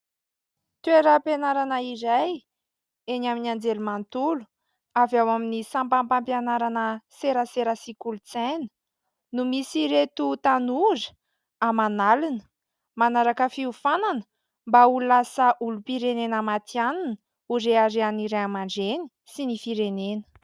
Toeram-pianarana iray eny amin'ny anjely manontolo, avy ao amin'ny sampam-pampianarana serasera sy kolontsaina, no misy an'ireto tanora aman'alina manaraka fiofanana mba ho lasa olom-pirenena matihanina ho reharehan'ny ray aman-dreny sy ny firenena.